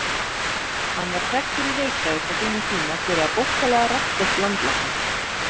Hann var þekktur í Reykjavík á sínum tíma fyrir að hafa bókstaflega rassskellt landlækni.